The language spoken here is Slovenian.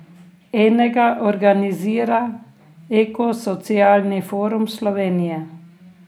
Enega organizira Ekosocialni forum Slovenije.